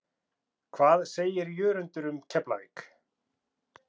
Hvað segir Jörundur um Keflavík?